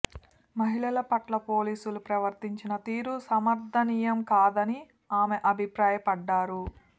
మహిళల పట్ల పోలీసులు ప్రవర్తించిన తీరు సమర్థనీయం కాదని ఆమె అభిప్రాయపడ్డారు